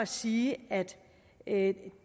sige at